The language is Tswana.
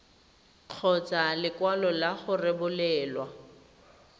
kgotsa lekwalo la go rebolelwa